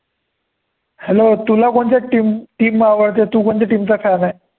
Hello तुला कोणच्या team team आवडते, तु कोणत्या team चा fan आहे.